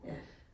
Ja